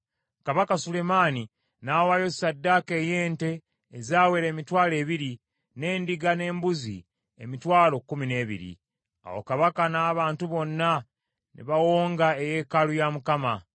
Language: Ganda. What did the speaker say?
Kabaka Sulemaani n’awaayo ssaddaaka ey’ente ezawera emitwalo ebiri, n’endiga n’embuzi emitwalo kkumi n’ebiri. Awo kabaka n’abantu bonna ne bawonga eyeekaalu ya Mukama .